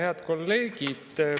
Head kolleegid!